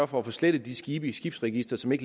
for at få slettet de skibe i skibsregisteret